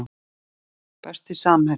Besti samherjinn?